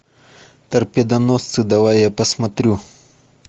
торпедоносцы давай я посмотрю